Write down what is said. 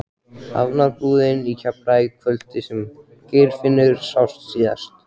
Hafnarbúðina í Keflavík kvöldið sem Geirfinnur sást síðast.